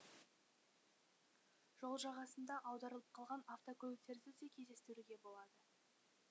жол жағасында аударылып қалған автокөліктерді де кездестіруге болады